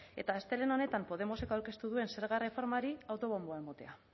eta astelehen honetan podemosek aurkeztu duen zerga erreformari autobomboa emotea